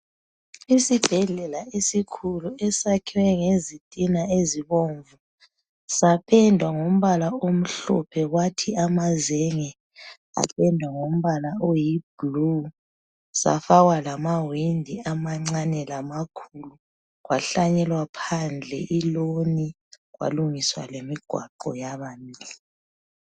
Isibhedlela esikhulu esakhiwe ngezitina ezibomvu, sapendwa ngombala omhlophe, kwathi amazenge apendwa ngombala oyibhulu, safakwa lamawindi amancane lamakhulu. Kwahlanyelwa phandle iloni, kwalungiswa lemigwaqo yaba mihle.